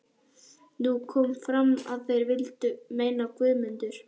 Nú kom fram að þeir vildu meina að Guðmundur